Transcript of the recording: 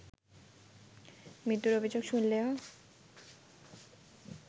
মৃত্যুর অভিযোগ শুনলেও